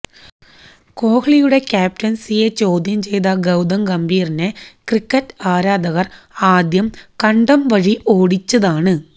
കോഹ്ലിയുടെ ക്യാപ്റ്റൻസിയെ ചോദ്യം ചെയ്ത ഗൌതം ഗംഭീറിനെ ക്രിക്കറ്റ് ആരാധകർ ആദ്യം കണ്ടംവഴി ഓടിച്ചതാണ്